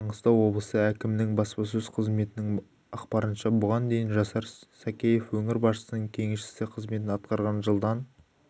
маңғыстау облысы әкімінің баспасөз қызметінің ақпарынша бұған дейін жасар сакеев өңір басшысының кеңесшісі қызметін атқарған жылдан